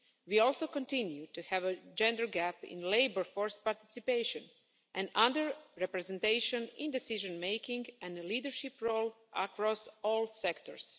We also continue to have a gender gap in labour force participation and under representation in decision making and a leadership role across all sectors.